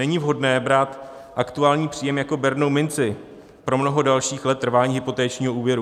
Není vhodné brát aktuální příjem jako bernou minci pro mnoho dalších let trvání hypotečního úvěru.